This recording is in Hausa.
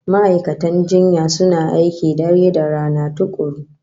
Ma'aikatan jinya suna aiki dare da rana tukuru